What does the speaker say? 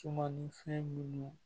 Suman ni fɛn minnu